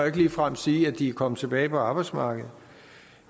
ikke ligefrem sige at de er kommet tilbage på arbejdsmarkedet